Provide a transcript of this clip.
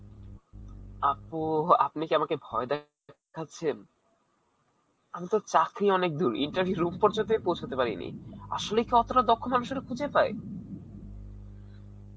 আপু, আপনি কি আমাকে ভয় দেখাচ্ছেন? আমি তো চাকরী অনেক দূর interview এর room পর্য্যন্তই পৌছাতে পারিনি. আসলে কি অতটা দক্ষ্য মানুষেরা খুঁজে পায়?